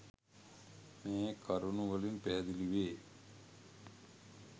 මේ කරුණු වලින් පැහැදිලිවේ.